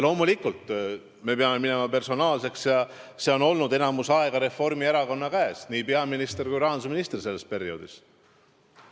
Loomulikult me peame minema personaalseks: enamik aega oli sel ajal Reformierakonna käes nii peaministri kui rahandusministri portfell.